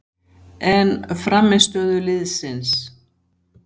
En frammistöðu liðsins?